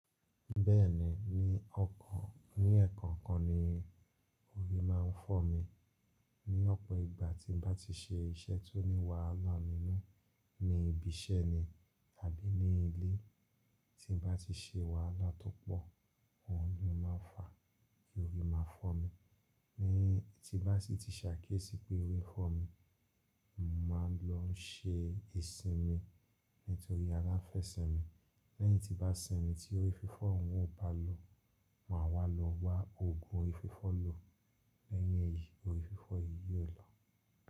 Bẹ́ẹ̀ni, ní ọkàn, ní ẹ̀ẹ̀kàn kan ni orí máa ń fọ́ mi. Ni ọ̀pọ̀ ìgbà tí mo bá ti ṣe iṣẹ́ tó ní wàhálà nínú, ní ibi iṣẹ́ ni tàbí ní ilé tí n bá ti ṣe wàhálà tó pọ̀, òun ni mo máa ń fa kí orí máa fọ́ mi. Ni tí bá sì ti ṣàkíyèsí pé orí fọ́ mi, màá lọ ṣe ìsinmi nítorí ara fẹ́ sẹmi. Lẹ́yìn tí bá sẹmi tí orí fífọ́ òun ò bá lò, màá wá lọ wa òògùn orí fífọ́ lò. Lẹ́yìn èyí, orí fífọ́ yìí yóò lọ.